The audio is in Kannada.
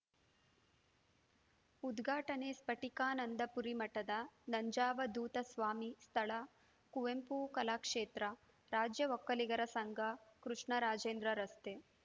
ಉದ್ಘಾಟನೆ ಸ್ಟಟಿಕಾನಂದಪುರಿ ಮಠದ ನಂಜಾವದೂತ ಸ್ವಾಮಿ ಸ್ಥಳ ಕುವೆಂಪು ಕಲಾಕ್ಷೇತ್ರ ರಾಜ್ಯ ಒಕ್ಕಲಿಗರ ಸಂಘ ಕೃಷ್ಣರಾಜೇಂದ್ರ ರಸ್ತೆ